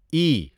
ای